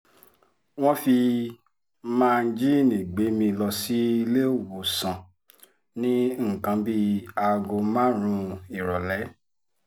wọ́n fi máńgínní gbé mi lọ síléèwọ̀sán ní nǹkan bíi aago márùn-ún ìrọ̀lẹ́